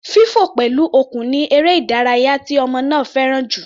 Fífọ̀ pẹ̀lú okùn ni eré ìdárayá tí ọmọ náà fẹ́ràn jù.